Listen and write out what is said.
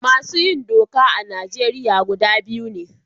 Masu yin doka a Najeriya gida biyu ne.